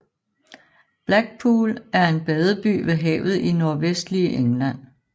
Blackpool er en badeby ved havet i nordvestlige England